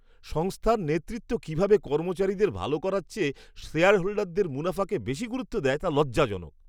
সংস্থার নেতৃত্ব কীভাবে কর্মচারীদের ভাল করার চেয়ে শেয়ারহোল্ডারদের মুনাফাকে বেশি গুরুত্ব দেয় তা লজ্জাজনক।